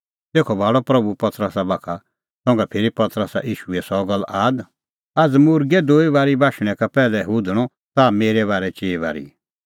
तेखअ भाल़अ प्रभू पतरसा बाखा संघा फिरी पतरसा ईशूए सह गल्ल आद आझ़ मुर्गै दुजी बारी बाशणैं का पैहलै हुधणअ ताह मेरै बारै चिई बारी